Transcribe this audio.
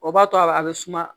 O b'a to a bɛ suma